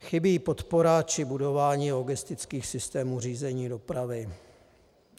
Chybí podpora či budování logistických systémů řízení dopravy.